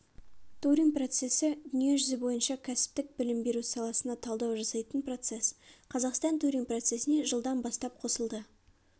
турин процесідүниежүзі бойынша кәсіптік білім беру саласына талдау жасайтын процесс қазақстан турин процесіне жылдан бастап қосылды